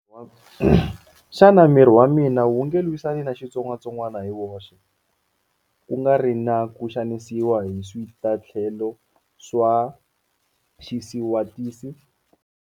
Xana miri wa mina wu nge lwisani na xitsongwatsongwana hi woxe, ku nga ri na ku xanisiwa hi switatlhelo swa xisiwatisi?